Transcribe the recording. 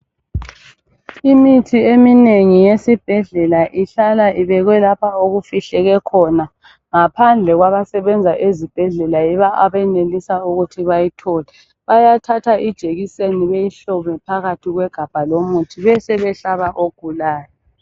Imithi eminengi yesibhedlela ihlala ibekwe lapho okufihleke khona ngaphandle kwabasebenza ezibhedlela yibo abenelisa ukuthi bayithole. Bayathatha ijekiseni beyihlome phakathi kwegabha lomuthi besebehlaba ogulayo